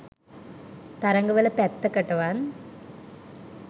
තරඟ වල පැත්තකටවත්